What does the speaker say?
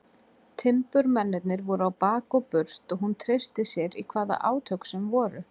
Timburmennirnir voru á bak og burt og hún treysti sér í hvaða átök sem voru.